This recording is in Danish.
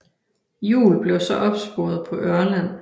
Juul blev så opsporet på Ørland